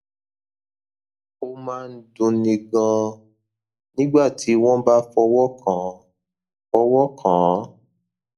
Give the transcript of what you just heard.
ó máa ń dunni ganan nígbà tí wọn bá fọwọ kàn án fọwọ kàn án